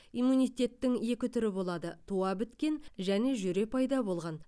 иммунитеттің екі түрі болады туа біткен және жүре пайда болған